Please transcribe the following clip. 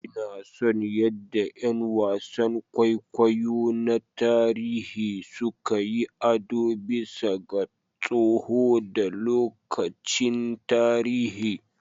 Ina son yadda ƴan wasan kwaikwayo na tarihi suka yi ado bisa ga tsoho da lokacin tarihi.